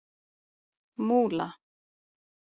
Múla